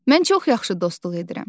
Mən çox yaxşı dostluq edirəm.